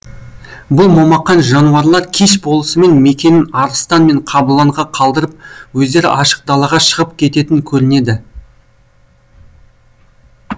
бұл момақан жануарлар кеш болысымен мекенін арыстан мен қабыланға қалдырып өздері ашық далаға шығып кететін көрінеді